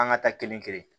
An ka taa kelen kelen